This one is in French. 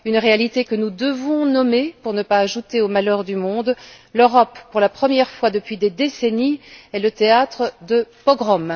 une réalité que nous devons nommer pour ne pas ajouter au malheur du monde l'Europe pour la première fois depuis des décennies est le théâtre de pogrom.